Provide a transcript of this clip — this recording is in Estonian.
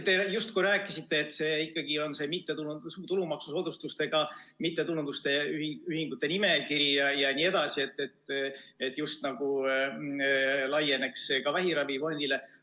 Te justkui rääkisite, et on ju see tulumaksusoodustustega mittetulundusühingute nimekiri jne ja see just nagu laieneks ka vähiravifondile.